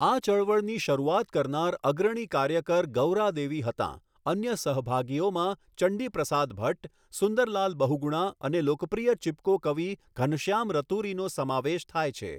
આ ચળવળની શરૂઆત કરનાર અગ્રણી કાર્યકર ગૌરા દેવી હતાં, અન્ય સહભાગીઓમાં ચંડી પ્રસાદ ભટ્ટ, સુંદરલાલ બહુગુણા અને લોકપ્રિય ચિપકો કવિ ઘનશ્યામ રતુરીનો સમાવેશ થાય છે.